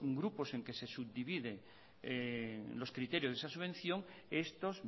grupos en los que se subdividen los criterios de esa subvención estos